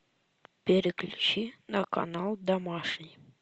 переключи на канал домашний